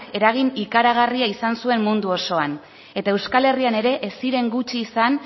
eragin ikaragarria izan zuen mundu osoan eta euskal herrian ere ez ziren gutxi izan